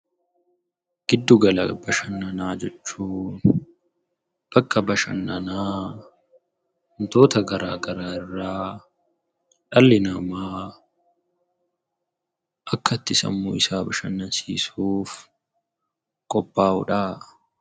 Giddu gala bashannanaa jechuun bakka bashannanaa wantoota garaa garaa irraa dhalli namaa akka itti sammuu isaa bashannansiisuuf qophaa'udha.